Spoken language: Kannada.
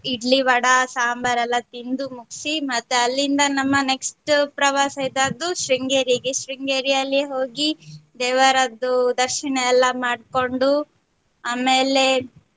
ಇಡ್ಲಿ ವಡಾ ಸಂಬಾರ್ ಎಲ್ಲಾ ತಿಂದು ಮುಗ್ಸಿ ಮತ್ತೆ ಅಲ್ಲಿಂದ ನಮ್ಮ next ಪ್ರವಾಸ ಇದ್ದದ್ದು ಶೃಂಗೇರಿಗೆ ಶೃಂಗೇರಿಯಲ್ಲಿ ಹೋಗಿ ದೇವರದ್ದು ದರ್ಶನ ಎಲ್ಲಾ ಮಾಡ್ಕೊಂಡ್ ಆಮೇಲೆ.